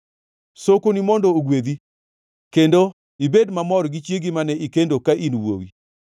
Sokoni mondo ogwedhi, kendo ibed mamor gi chiegi mane ikendo ka in wuowi.